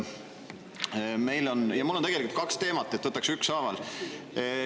Mul on tegelikult kaks teemat, nii et võtan ükshaaval.